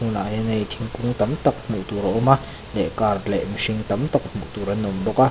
tunah hian hei thingkung tam tak hmuh tur a awm a leh car leh mihring tam tak hmuh tur an awm bawk a.